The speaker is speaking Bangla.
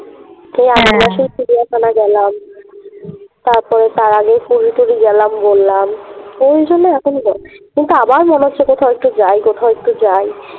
সেই চিড়িয়াখানা গেলাম তারপরে তার আগে পুরি টুড়ি গেলাম বললাম ঐজন্যে এখনই যাচ্ছি কিন্তু আবার মনে হচ্ছে কোথাও একটু যাই কোথাও একটু যাই